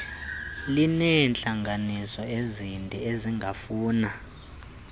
lineentlanganiso ezinde ezingafuna